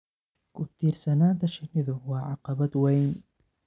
Ku-tiirsanaanta shinnidu waa caqabad weyn.